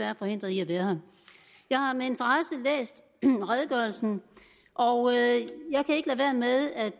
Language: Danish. er forhindret i at være her jeg har med interesse læst redegørelsen og